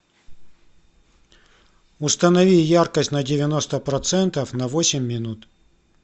установи яркость на девяносто процентов на восемь минут